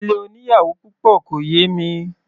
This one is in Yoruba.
Ilé oníyàwò púpọ̀ kò yẹ mí.